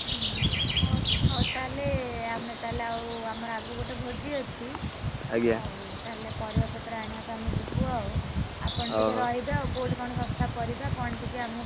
ଉହୁଁ, ହଉ, ହଉ ତାହେଲେ ଆମେ ତାହେଲ ଆଉ ଆମର ଆଗକୁ ଗୋଟେ ଭୋଜି ଅଛି। ହଉ ତାହେଲେ ପରିବାପତ୍ର ଆଣିଆକୁ ଆମେ ଯିବୁ ଆଉ, ଆପଣ ଟିକେ ରହିବେ ଆଉ କୋଉଠି କଣ ଶସ୍ତା ପରିବା କଣ ଟିକେ ଆମୁକୁ।